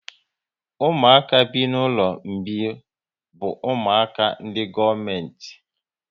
Ụmụaka bi n'ụlọ mgbei bụ ụmụaka ndị gọọmenti